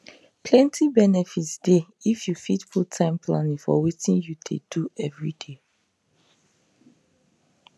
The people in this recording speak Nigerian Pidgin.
plenty benefit dey if you fit put time planning for wetin you dey do everyday